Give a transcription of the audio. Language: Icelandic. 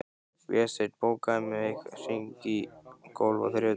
Vésteinn, bókaðu hring í golf á þriðjudaginn.